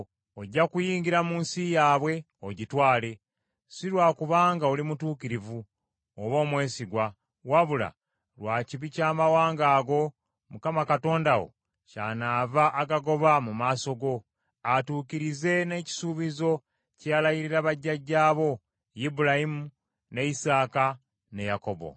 Ojja kuyingira mu nsi yaabwe ogitwale, si lwa kubanga oli mutuukirivu, oba omwesigwa; wabula lwa kibi ky’amawanga ago Mukama Katonda wo kyanaava agagoba mu maaso go, atuukirize n’ekisuubizo kye yalayirira bajjajjaabo: Ibulayimu ne Isaaka ne Yakobo.